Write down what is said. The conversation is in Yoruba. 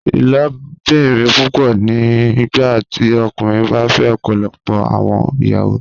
Ilobirin pupọ ni nigbati ọkunrin ba fẹ ọpọlọpọ awọn iyawo